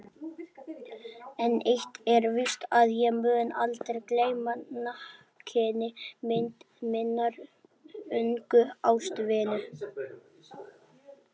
En eitt er víst að ég mun aldrei gleyma nakinni mynd minnar ungu ástvinu.